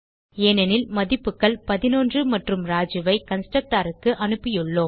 ஏனெனில் மதிப்புகள் 11 மற்றும் ராஜு ஐ கன்ஸ்ட்ரக்டர் க்கு அனுப்பியுள்ளோம்